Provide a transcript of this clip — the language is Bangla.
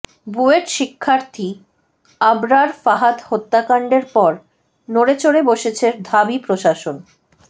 বুয়েট শিক্ষার্থী আবরার ফাহাদ হত্যাকাণ্ডের পর নড়েচড়ে বসেছে ঢাবি প্রশাসন